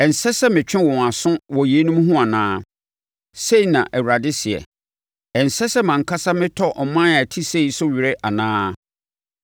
Ɛnsɛ sɛ metwe wɔn aso wɔ yeinom ho anaa?” Sei na Awurade seɛ. “Ɛnsɛ sɛ mʼankasa metɔ ɔman a ɛte sei so were anaa?